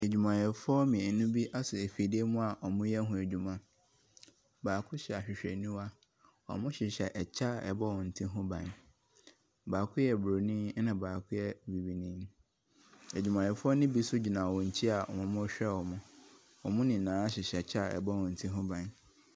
Adwumayɛfoɔ mmienu bi asɔ afidie bi mu a wɔreyɛ ho adwuma. Baako hyɛ ahwehwɛniwa. Wɔhyehyɛ kyɛ a ɛbɔ wɔn ti ho ban. Baako yɛ buroni na baako yɛ bibini. Adwumayɛfoɔ no bi nso gyina wɔn akyi a wɔrehwɛ wɔn. Wɔn nyinaa hyehyɛ kyɛ a ɛbɔ wɔn ti ho ban.